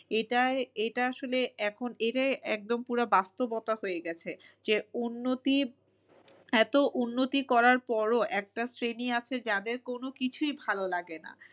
এটা এটা আসলে এখন এটাই একদম পুরা বাস্তবতা হয়ে গেছে যে উন্নতি এতো উন্নতি করার পরও একটা শ্রেণী আছে যাদের কোনো কিছুই ভালো লাগে না।